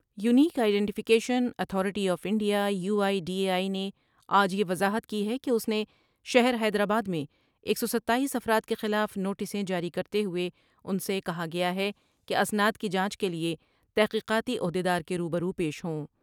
Unique identification authority of India U I D A I نے آج یہ وضاحت کی ہے کہ اس نے شہر حیدرآباد میں ایک سو ستاییس افراد کے خلاف نوٹسیں جاری کر تے ہوۓ ان سے کہا گیا ہے کہ اسناد کی جانچ کے لیے تحقیقاتی عہد یدار کے روبرو پیش ہوں ۔